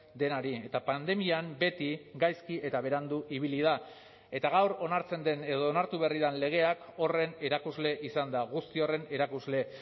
denari eta pandemian beti gaizki eta berandu ibili da eta gaur onartzen den edo onartu berri den legeak horren erakusle izan da guzti horren erakusle